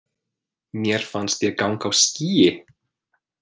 Mér fannst ég ganga á skýi.